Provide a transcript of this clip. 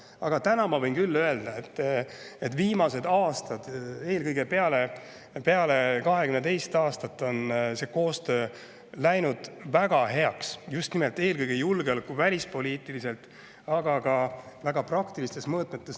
Aga täna ma võin küll öelda, et viimased aastad, eelkõige peale 2022. aastat, on see koostöö läinud väga heaks, eelkõige julgeoleku- ja välispoliitikas, ka väga praktilistes mõõtmetes.